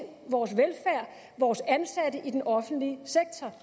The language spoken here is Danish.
vores velfærd vores ansatte i den offentlige sektor